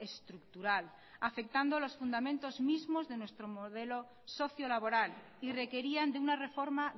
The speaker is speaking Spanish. estructural afectando los fundamentos mismos de nuestro modelo socio laboral y requerían de una reforma